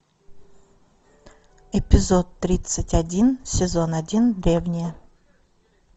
эпизод тридцать один сезон один древние